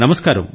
నమస్కారం